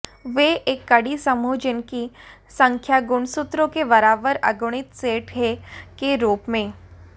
वे एक कड़ी समूह जिनकी संख्या गुणसूत्रों के बराबर अगुणित सेट है के रूप में